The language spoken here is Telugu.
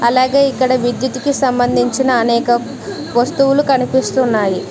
అలాగే ఇక్కడ విద్యుత్ కి సంబంధించిన అనేక వస్తువులు కనిపిస్తున్నాయి.